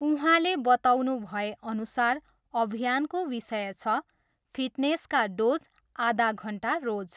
उहाँले बताउनुभए अनुसार अभियानको विषय छ, फिटनेसका डोज आधा घन्टा रोज।